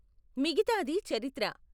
మిగితాది చరిత్ర!